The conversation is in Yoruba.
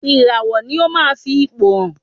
Ìràwọ̀ ni ó ma ń fi ipò hàn.